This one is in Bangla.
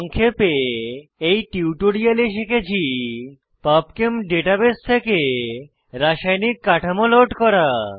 সংক্ষেপে এই টিউটোরিয়ালে শিখেছি পাবচেম ডাটাবেস থেকে রাসায়নিক কাঠামো লোড করা